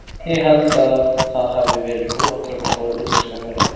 Ég held að það hafi verið mjög góð ákvörðun að fá útlenskan þjálfara.